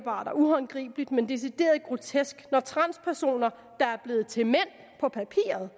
og uhåndgribeligt men decideret grotesk når transpersoner der er blevet til mænd på papiret